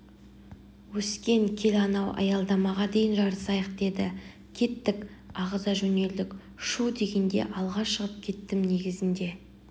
өскен кел анау аялдамаға дейін жарысайық деді кеттік ағыза жөнелдік шүу дегенде алға шығып кеттім негізінде